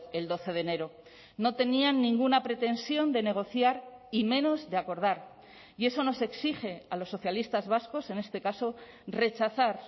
el doce de enero no tenían ninguna pretensión de negociar y menos de acordar y eso nos exige a los socialistas vascos en este caso rechazar